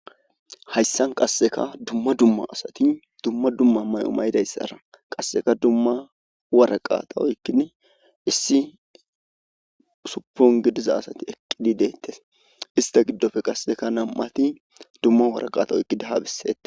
hayssan qasseka dumma dumma asati dumma dumma may7o maydayssara qasseka dumma waraqata woykkin issi suppon gidiza asati eqqidi deettes ista giddofe qasseka nam7ati dumma waraqata oyqidahabisette